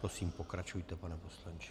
Prosím, pokračujte, pane poslanče.